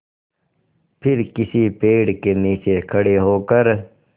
फिर किसी पेड़ के नीचे खड़े होकर